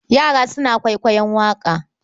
Yana suna kwaikwaiyon waƙa.